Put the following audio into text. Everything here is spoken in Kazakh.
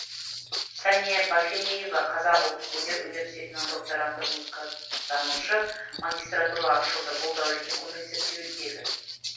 сәния баженеева қазақ ұлттық өнер университетінің докторанты музыка танушы магистратура ашылды бұл да үлкен көмек зерттеудегі